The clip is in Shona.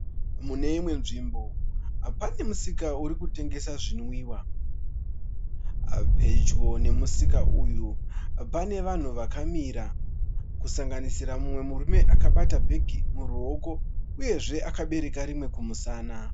Mune imwe dzvimbo pane musika uri kutengesa zvinwiwa. Pedyo nemusika uyu pane vanhu vakamira. Kusanganisira mumwe murume akabata bhegi muruoko uyezve akabereka rimwe kumusana.